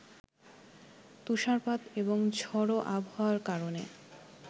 তুষারপাত এবং ঝোড়ো আবহাওয়ার কারণে